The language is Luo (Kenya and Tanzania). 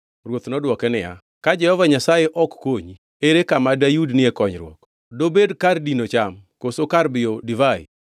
Ruoth nodwoke niya, “Ka Jehova Nyasaye ok konyi, ere kama dayudnie konyruok.” Dobed kar dino cham, koso kar biyo divai?